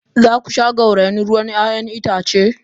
Za ku sha gauraye ruwan 'ya'yan itace?